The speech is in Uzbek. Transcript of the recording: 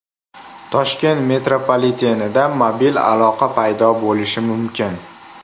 Toshkent metropolitenida mobil aloqa paydo bo‘lishi mumkin .